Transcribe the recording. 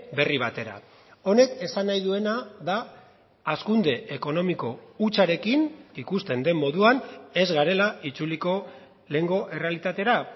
berri batera honek esan nahi duena da hazkunde ekonomiko hutsarekin ikusten den moduan ez garela itzuliko lehengo errealitatera